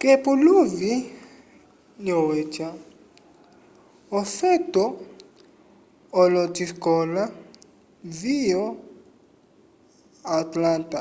k'epuluvi lyokweca ofeto olosikola vyo atlanta